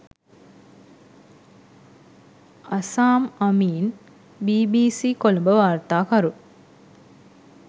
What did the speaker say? Azzam Ameen BBC Colombo වාර්තාකරු